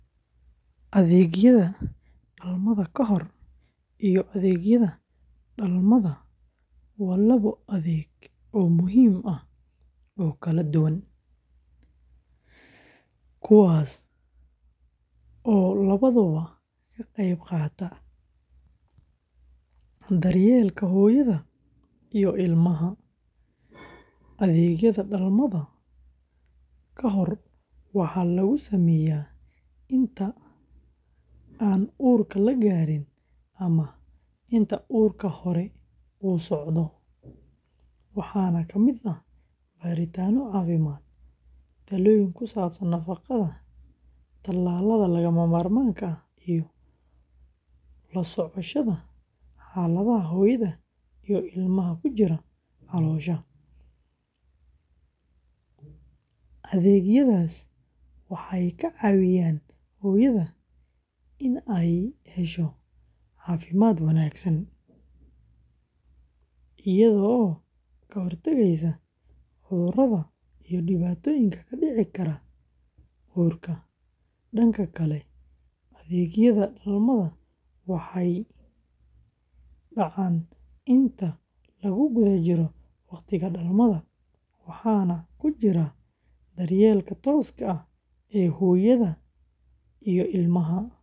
Adeegyada dhalmada ka hor iyo adeegyada dhalmada waa labo adeeg oo muhiim ah oo kala duwan, kuwaas oo labaduba ka qayb qaata daryeelka hooyada iyo ilmaha. Adeegyada dhalmada ka hor waxaa lagu sameeyaa inta aan uurka la gaarin ama inta uurku hore u socdo, waxaana ka mid ah baaritaanno caafimaad, talooyin ku saabsan nafaqada, tallaalada lagama maarmaanka ah, iyo la socoshada xaaladda hooyada iyo ilmaha ku jira caloosha. Adeegyadaas waxay ka caawiyaan hooyada inay hesho caafimaad wanaagsan, iyadoo ka hortagaysa cudurrada iyo dhibaatooyinka ku dhici kara uurka. Dhanka kale, adeegyada dhalmada waxay dhacaan inta lagu guda jiro waqtiga dhalmada, waxaana ku jira daryeelka tooska ah ee hooyada iyo ilmaha.